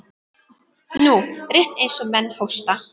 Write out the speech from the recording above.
Nú, rétt eins og menn hósta.